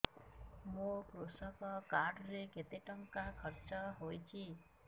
ମୋ କୃଷକ କାର୍ଡ ରେ କେତେ ଟଙ୍କା ଖର୍ଚ୍ଚ ହେଇଚି